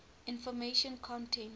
information content